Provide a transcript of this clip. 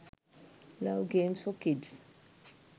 love games for kids